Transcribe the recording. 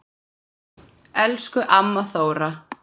Elsku amma Þóra.